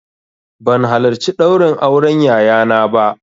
Ban halarci ɗaurin auren yayana ba